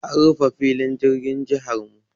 An rufe filin jirgin jihar mu.